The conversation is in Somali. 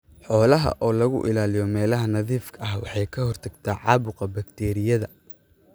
Xoolaha oo lagu ilaaliyo meelaha nadiifka ah waxay ka hortagtaa caabuqa bakteeriyada.